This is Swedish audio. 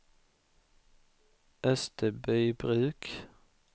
Österbybruk